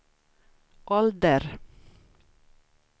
ålder